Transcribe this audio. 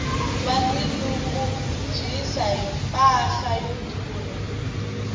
va ti nyungubyisa hi mpahla yo durha